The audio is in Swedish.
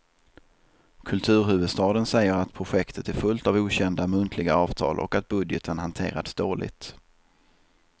Kulturhuvudstaden säger att projektet är fullt av okända muntliga avtal och att budgeten hanterats dåligt.